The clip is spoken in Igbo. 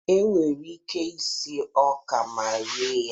Enwere ike sie ọka ma rie ya.